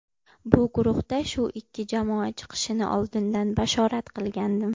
Bu guruhda shu ikki jamoa chiqishini oldindan bashorat qilgandim.